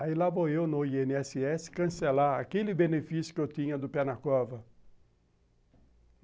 Aí lá vou eu no i ene esse esse cancelar aquele benefício que eu tinha do pé na cova.